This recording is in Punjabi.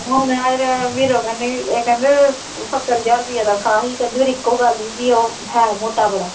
ਹੁਣ ਮੈਂ ਇਹਦਾ ਵੀਰੋ ਕਹਿਨੀ ਇਹ ਕਹਿੰਦੇ ਸੱਤਰ ਹਜ਼ਾਰ ਰੁਪਈਆ ਤਨਖਾਹ ਸੀ ਕਹਿੰਦੀ ਪਰ ਇੱਕੋ ਗੱਲ ਸੀ ਉਹ ਹੈ ਮੋਟਾ ਬੜਾ।